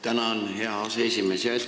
Tänan, hea aseesimees!